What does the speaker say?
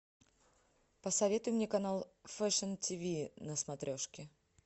посоветуй мне канал фэшн ти ви на смотрешке